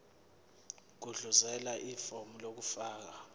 gudluzela ifomu lokufaka